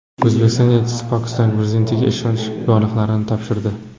O‘zbekiston elchisi Pokiston prezidentiga ishonch yorliqlarini topshirdi.